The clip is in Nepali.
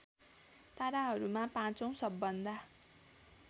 ताराहरूमा पाँचौँ सबभन्दा